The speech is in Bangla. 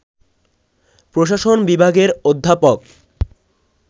প্রশাসন বিভাগের অধ্যাপক